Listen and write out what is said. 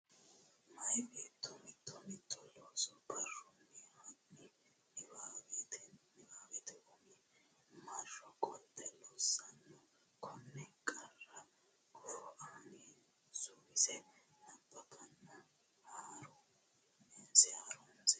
Meya beetto mito mito looso barrunni hanni niwaawennita umi marro qolte loossanno Konne qarra gufo ani suwise nabbawanna haru nse.